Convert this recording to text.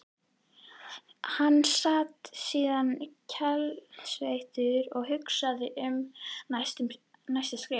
Hann sat síðan kaldsveittur og hugsaði um næsta skref.